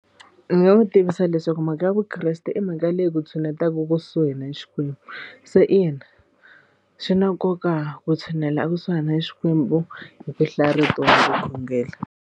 Ni nga n'wi tivisa leswaku mhaka ya vukreste i mhaka leyi ku tshuneta kusuhi na Xikwembu se ina swi na nkoka ku tshunela ekusuhi na Xikwembu hi ku hlaya rito na ku khongela.